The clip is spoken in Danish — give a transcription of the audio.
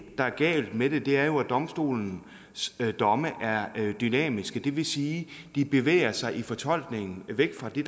der er galt med det er jo at domstolens domme er dynamiske det vil sige at de bevæger sig i fortolkningen og væk fra det